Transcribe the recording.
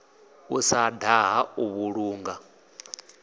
u sa daha u vhulunga